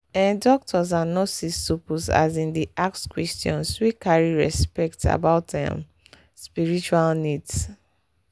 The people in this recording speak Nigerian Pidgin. ehh doctors and nurses suppose asin dey ask questions wey carry respect about ehm spiritual needs.